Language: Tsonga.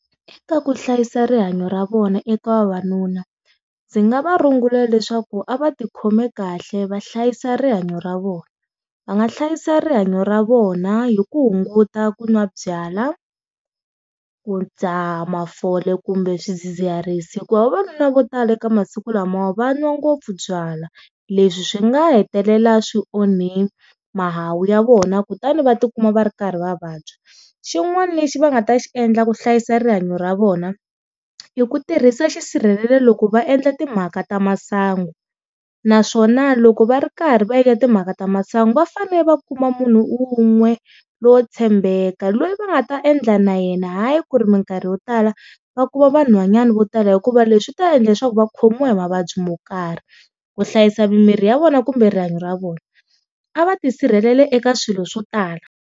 Eka ku hlayisa rihanyo ra vona eka vavanuna, ndzi nga va rungula leswaku a va ti khome kahle va hlayisa rihanyo ra vona va nga hlayisa rihanyo ra vona hi ku hunguta ku n'wa byala ku ndzaha mafole kumbe swidzidziharisi, hikuva vavanuna vo tala ekamasiku lama va n'wa ngopfu byalwa, leswi swi nga hetelela swi onhi mahawu ya vona kutani va tikuma va ri karhi va vabya. Xin'wana lexi va nga ta xi endla ku hlayisa rihanyo ra vona i ku tirhisa xisirhelelo loko va endla timhaka ta masangu naswona loko va ri karhi va endla timhaka ta masangu va fanele va kuma munhu un'we lowo tshembeka loyi va nga ta endla na yena hayi ku ri minkarhi yo tala va kuma vanhwanyani vo tala hikuva leswi ta endla leswaku va khomiwa hi mavabyi mo karhi, ku hlayisa mimiri ya vona kumbe rihanyo ra vona a va tisirhelela eka swilo swo tala.